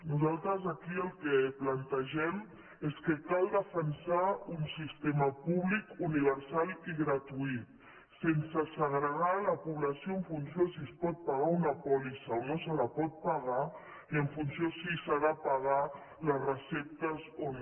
nosaltres aquí el que plantegem és que cal defensar un sistema públic universal i gratuït sense segregar la població en funció de si es pot pagar una pòlissa o no se la pot pagar ni en funció de si s’ha de pagar les receptes o no